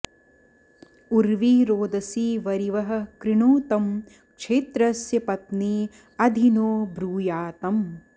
उर्वी॑रोदसी॒ वरि॑वः कृणोतं॒ क्षेत्र॑स्य पत्नी॒ अधि॑ नो ब्रूयातम्